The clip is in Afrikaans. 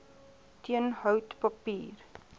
teen hout papier